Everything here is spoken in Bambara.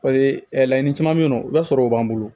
laɲini caman bɛ ye nɔ i b'a sɔrɔ o b'an bolo